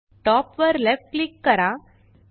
top वर left click करा